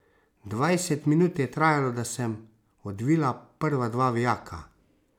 Dvajset minut je trajalo, da sem odvila prva dva vijaka.